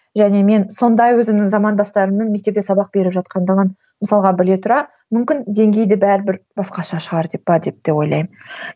және мен сондай өзімнің замандастарымның мектепке сабақ беріп жатқандығын мысалға біле тұра мүмкін деңгейі де бәрібір басқаша шығар деп ба деп те ойлаймын